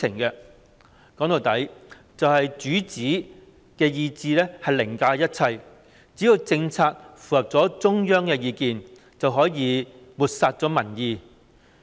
說到底，就是主子的意志凌駕一切，只要政策符合中央的意見，就可以漠視民意。